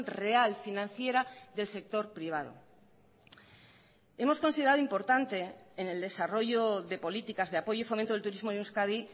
real financiera del sector privado hemos considerado importante en el desarrollo de políticas de apoyo y fomento del turismo en euskadi